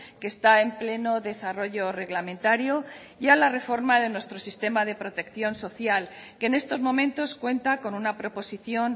que está en pleno desarrollo reglamentario y a la reforma de nuestro sistema de protección social que en estos momentos cuenta con una proposición